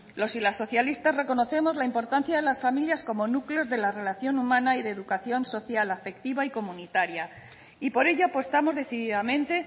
los y las socialistas reconocemos la importancia de las familias como núcleos de la relación humana y de educación social afectiva y comunitaria y por ello apostamos decididamente